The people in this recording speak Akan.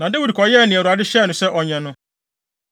Na Dawid kɔyɛɛ nea Awurade hyɛɛ no sɛ ɔnyɛ no.